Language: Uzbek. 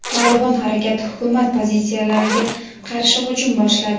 "Tolibon" harakati hukumat pozitsiyalariga qarshi hujum boshladi.